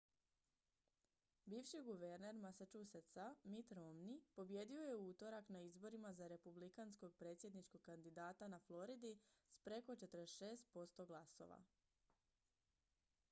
bivši guverner massachusettsa mitt romney pobijedio je u utorak na izborima za republikanskog predsjedničkog kandidata na floridi s preko 46 posto glasova